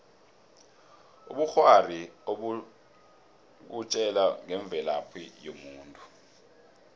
ubukghwari bukutjela ngemvelaphi yomuntu